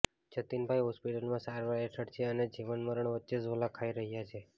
જતિનભાઈ હોસ્પિટલમાં સારવાર હેઠળ છે અને જીવન મરણ વચ્ચે ઝોલા ખાઈ રહ્યા છે